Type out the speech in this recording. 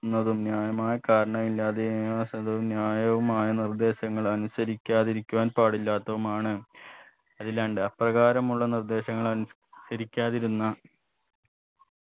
ക്കുന്നതും ന്യായമായ കയറണം ഇല്ലാതെ ന്യായവുമായ നിർദേശങ്ങൾ അനുസരിക്കാതിരിക്കുവാൻ പാടില്ലാത്തതുമാണ് അതിലാണ്ട് അപ്രകാരമുള്ള നിർദേശങ്ങൾ അനുസരിക്കാതിരുന്ന